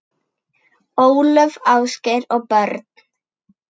Ólöf, Ásgeir og börn.